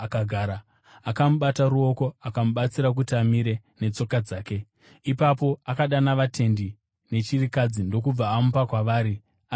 Akamubata noruoko akamubatsira kuti amire netsoka dzake. Ipapo akadana vatendi nechirikadzi ndokubva amupa kwavari ari mupenyu.